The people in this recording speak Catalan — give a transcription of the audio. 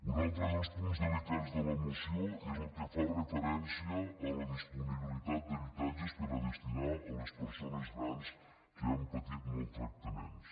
un altre dels punts delicats de la moció és el que fa referència a la disponibilitat d’habitatges per a destinar a les persones grans que han patit maltractaments